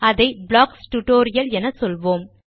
அதை blocks tutorial என சொல்லுவோம்